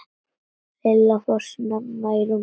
Lilla fór snemma í rúmið.